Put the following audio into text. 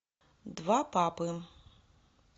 два папы